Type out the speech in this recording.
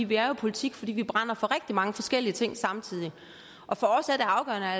vi er jo i politik fordi vi brænder for rigtig mange forskellige ting samtidig for